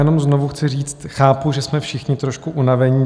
Jenom znovu chci říct, chápu, že jsme všichni trošku unavení.